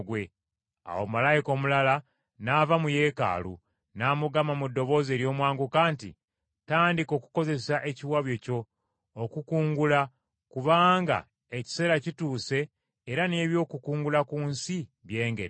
Awo malayika omulala n’ava mu Yeekaalu, n’amugamba mu ddoboozi ery’omwanguka nti, “Tandika okukozesa ekiwabyo kyo okukungula, kubanga ekiseera kituuse era n’ebyokukungula ku nsi byengedde.”